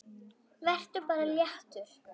Vertu bara léttur!